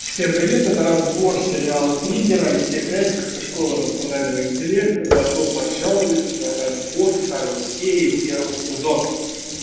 всем привет это разбор сериала тригер алексей красиков и школа эмоционального интеллекта добро пожаловать на разбор второй серии первого сезона